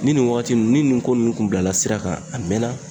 Ni nin wagati ninnu ni nin ko nunnu kun bilala sira kan a mɛnna